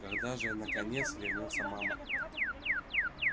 когда же наконец вернётся мама